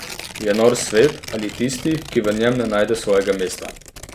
Je nor svet ali tisti, ki v njem ne najde svojega mesta?